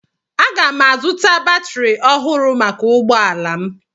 Aga m azụta batrị ọhụrụ maka ụgbọ ala m